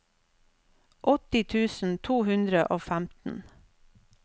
åtti tusen to hundre og femten